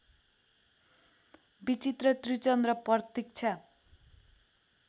विचित्र त्रिचन्द्र प्रतीक्षा